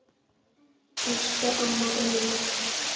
Elsku amma Unnur.